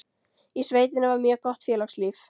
Í sveitinni var mjög gott félagslíf.